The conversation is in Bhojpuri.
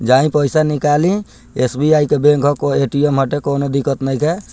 जाइ पइसा निकाली एस.बी.आई. के बैंक हकओ ए.टी.एम. हटे कोनो दिक्क्त नइखे।